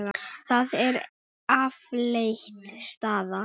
Það er afleit staða.